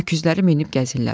Öküzləri minib gəzirlər.